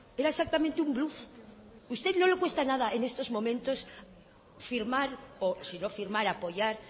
era exactamente un bluf usted no le cuesta nada en estos momentos firmar o si no firmar apoyar